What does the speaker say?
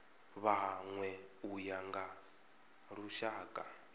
vhanwe u ya nga lushaka